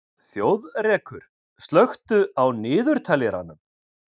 Þjóðrekur, slökktu á niðurteljaranum.